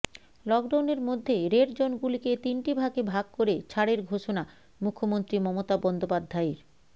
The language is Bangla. লকডাউনের মধ্যে রেড জোনগুলিকে তিনটি ভাগে ভাগ করে ছাড়ের ঘোষণা মুখ্যমন্ত্রী মমতা বন্দ্যোপাধ্যায়ের